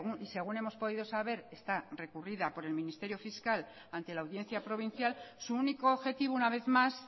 y según hemos podido saber está recurrida por el ministerio fiscal ante la audiencia provincial su único objetivo una vez más